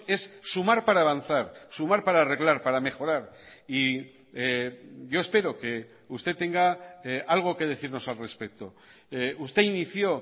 es sumar para avanzar sumar para arreglar para mejorar y yo espero que usted tenga algo que decirnos al respecto usted inició